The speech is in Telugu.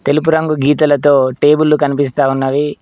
తెలుపు రంగు గీతలతో టేబుల్లు కనిపిస్తా ఉన్నవి.